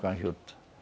Com a juta.